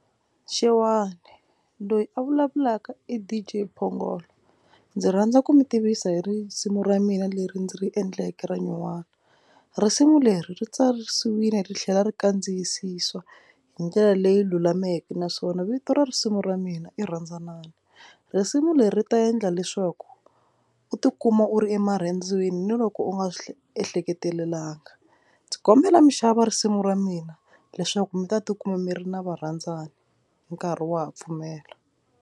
Xewani loyi a vulavulaka D_J Phongolo ndzi rhandza ku mi tivisa hi risimu ra mina leri ndzi ri endleke ra nyuwani. Risimu leri ri tsarisiwile ri tlhela ri kandziyisiswa hi ndlela leyi lulameke naswona vito ra risimu ra mina i rhandzanani. Risimu leri ta endla leswaku u tikuma u ri emarhandzwini ni loko u nga swi ehleketelelanga. Ndzi kombela mi xava risimu ra mina leswaku mi ta tikuma mi ri na va rhandzani nkarhi wa ha pfumela.